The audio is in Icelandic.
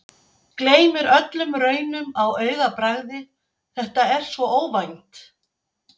Gleymir öllum raunum á augabragði, þetta er svo óvænt.